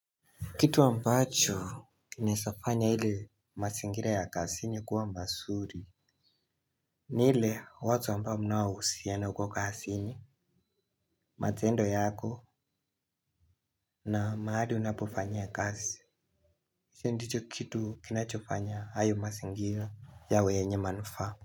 Kitu ambacho kinaezafanya ile mazingira ya kazini kuwa mazuri ni ile watu ambao mnaohusiana huko kazini, matendo yako na mahali unapofanyaia kazi ndicho kitu kinachofanya hayo mazingira yawe yenye manufaa.